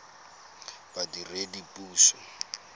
badiredipuso